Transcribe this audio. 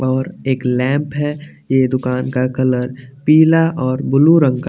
और एक लैंप है ये दुकान का कलर पीला और ब्लू रंग का --